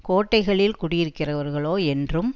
கோட்டைகளில் குடியிருக்கிறவர்களோ என்றும்